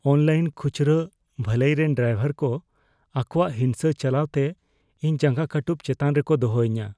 Online ᱠᱷᱩᱪᱨᱟᱹ ᱵᱷᱟᱹᱞᱟᱹᱭ ᱨᱮᱱ ᱰᱨᱟᱭᱵᱷᱟᱨ ᱠᱚ ᱟᱠᱚᱣᱟᱜ ᱦᱤᱝᱥᱟᱹ ᱪᱟᱞᱟᱣ ᱛᱮ ᱤᱧ ᱡᱟᱸᱜᱟ ᱠᱟᱹᱴᱩᱵᱽ ᱪᱮᱛᱟᱱ ᱨᱮᱠᱚ ᱫᱚᱦᱚᱧᱟ ᱾